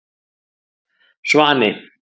Svani